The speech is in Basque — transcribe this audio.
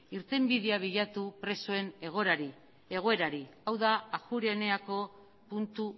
irtenbidea bilatu presoen egoerari hau da ajuria eneako puntu